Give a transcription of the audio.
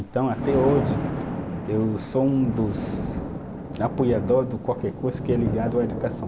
Então, até hoje, eu sou um dos apoiadores de qualquer coisa que é ligado à educação.